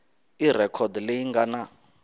i rhekhodi leyi nga na